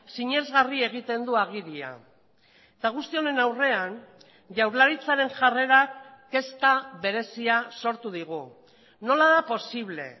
sinesgarri egiten du agiria eta guzti honen aurrean jaurlaritzaren jarrerak kezka berezia sortu digu nola da posible